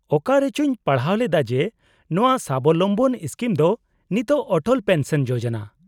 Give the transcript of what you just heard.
-ᱚᱠᱟᱨᱮᱪᱚᱧ ᱯᱟᱲᱦᱟᱣ ᱞᱮᱫᱟ ᱡᱮ ᱱᱚᱶᱟ ᱥᱟᱵᱚᱞᱚᱢᱵᱚᱱ ᱥᱠᱤᱢ ᱫᱚ ᱱᱤᱛᱚᱜ ᱚᱴᱚᱞ ᱯᱮᱱᱥᱚᱱ ᱡᱳᱡᱳᱱᱟ ?